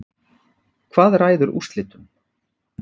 Hvað ræður úrslitum?